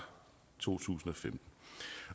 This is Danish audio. to tusind